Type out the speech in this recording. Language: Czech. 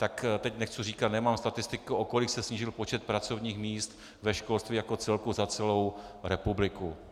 Tak teď nechci říkat, nemám statistiku, o kolik se snížil počet pracovních míst ve školství jako celku za celou republiku.